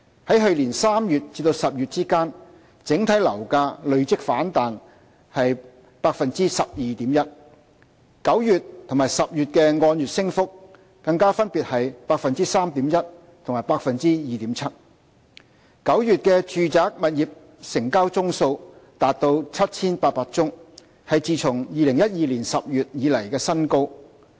在去年3月至10月之間，整體樓價累積反彈了 12.1%，9 月和10月的按月升幅更加分別是 3.1% 和 2.7%；9 月的住宅物業成交宗數達 7,800 宗，是自2012年10月以來的新高。